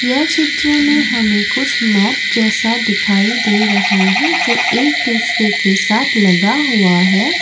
यह चित्र में हमें कुछ मैट जैसा दिखाई दे रहा है जो एक दूसरे के साथ लगा हुआ है।